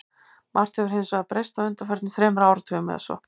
Margt hefur hins vegar breyst á undanförnum þremur áratugum eða svo.